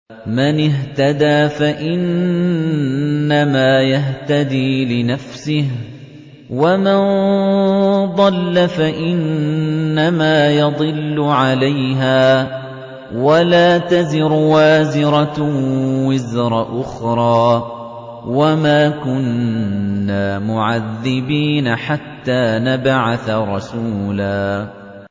مَّنِ اهْتَدَىٰ فَإِنَّمَا يَهْتَدِي لِنَفْسِهِ ۖ وَمَن ضَلَّ فَإِنَّمَا يَضِلُّ عَلَيْهَا ۚ وَلَا تَزِرُ وَازِرَةٌ وِزْرَ أُخْرَىٰ ۗ وَمَا كُنَّا مُعَذِّبِينَ حَتَّىٰ نَبْعَثَ رَسُولًا